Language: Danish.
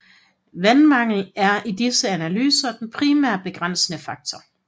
Vandmangel er i disse analyser den primære begrænsende faktor